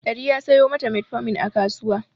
Dari ya sayo ma ta metformin a kasuwa.